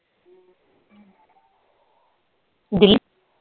Delhi